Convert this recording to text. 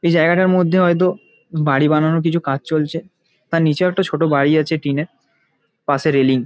এই জায়গাটার মধ্যে হয়তো বাড়ি বানানোর কিছু কাজ চলছে । তার নিচেও একটা ছোট বাড়ি আছে টিন -এর পাশে রেলিং ।